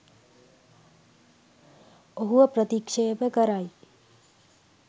ඔහුව ප්‍රතික්ෂේප කරයි